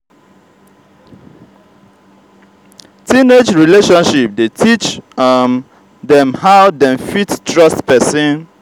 teenage relationship de teach um dem how dem fit trust persin